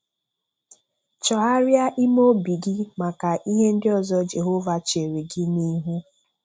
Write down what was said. Chọgharia ime obi gị maka ihe ndị ọzọ Jehova chere gị n'ihu.